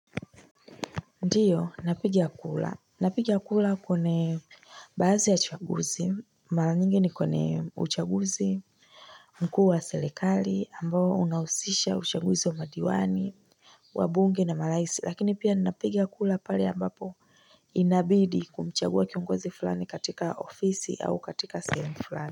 Ndiyo napiga kura, napiga kura kwenye baadhi ya uchaguzi, mara nyingi ni kwenye uchaguzi mkuu wa serikali ambao unahusisha uchaguzi wa madiwani wabunge na marais lakini pia ninapiga kura pale ambapo inabidi kumchagua kiongozi fulani katika ofisi au katika sehemu fulani.